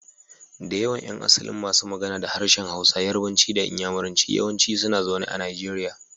Da yawan yan asalin masu magana da harshen Hausa, Yarbanci da Inyamuranci yawanci suna zaune a Najeriya.